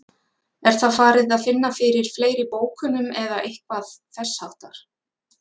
Er það farið að finna fyrir fleiri bókunum eða eitthvað þess háttar?